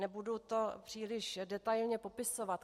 Nebudu to příliš detailně popisovat.